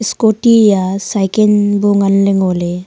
scooty ya cycle bu nganla ngey.